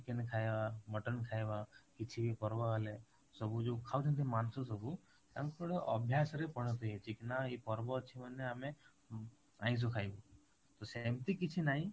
chicken ଖାଇବା mutton ଖାଇବାକିଛି ପର୍ବ ହେଲେ ସବୁ ଯୋଉ ଖାଉଛନ୍ତି ମାଂସ ସବୁ ତାଙ୍କର ଅଭ୍ୟାସରେ ପରିଣତ ହେଇଯାଇଛି ନା ଏଇ ପର୍ବ ଅଛି ମାନେ ଆମେ ଆଇଁସ ଖାଇବୁ ତ ସେମିତି କିଛି ନାଇଁ